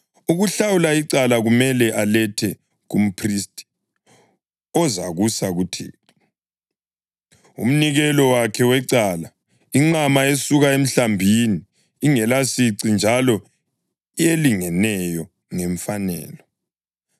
Ukuhlawula icala kumele alethe kumphristi ozakusa kuThixo, umnikelo wakhe wecala, inqama esuka emhlambini, ingelasici njalo elingeneyo ngemfanelo.